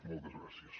moltes gràcies